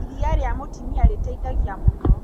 Iria rĩa mũtumia rĩteithagia mũno.